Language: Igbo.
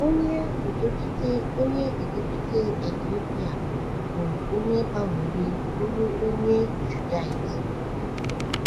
Onye udochite Onye udochite Etiopịa bụ onye gbanwere bụrụ onye Judaizim.